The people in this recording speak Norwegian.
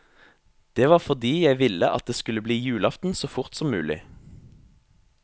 Det var fordi jeg ville at det skulle bli julaften så fort som mulig.